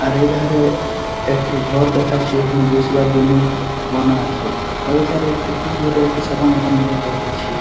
আর এধারে একটি ঘর দেখাছে এখানে বসবার জন্য বনা আছে। আর ওই ধারে একটি খুব দূরে এইটি সাদা মতোন ঘর দেখাচ্ছি ।